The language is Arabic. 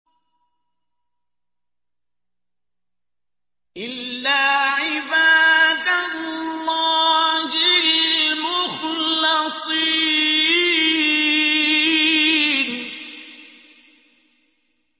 إِلَّا عِبَادَ اللَّهِ الْمُخْلَصِينَ